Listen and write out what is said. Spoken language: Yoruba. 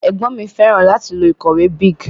Ègbón mi féràn láti lo ìkòwé Bic